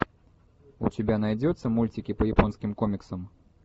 у тебя найдется мультики по японским комиксам